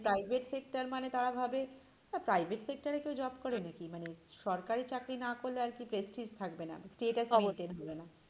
মানে private sector মানে তারা ভাবে না private sector এ কেউ job করে না কি? মানে সরকারি চাকরি না করলে আর কি prestige থাকবে না status maintain অবশ্যই।